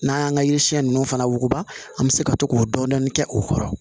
N'an y'an ka yiri siɲɛ ninnu fana wuguba an bɛ se ka to k'o dɔɔnin dɔɔnin kɛ u kɔrɔ